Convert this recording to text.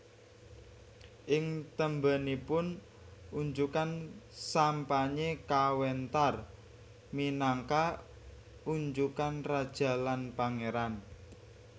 Ing tembénipun unjukan sampanye kawéntar minangka unjukan raja lan pangéran